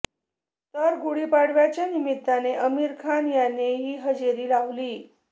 तर गुढीपाडव्याच्या निमित्ताने आमिर खान याने ही हजेरी लावली